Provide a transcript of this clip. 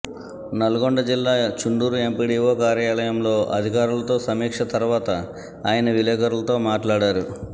నల్గొండ జిల్లా చండూరు ఎంపీడీవో కార్యాలయంలో అధికారులతో సమీక్ష తర్వాత ఆయన విలేకరులతో మాట్లాడారు